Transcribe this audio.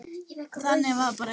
Þannig var bara Egill.